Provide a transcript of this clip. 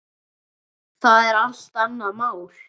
Það er allt annað mál.